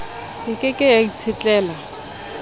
e ke ke ya itshetlela